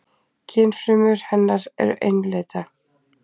Kynfrumur hennar eru einlitna.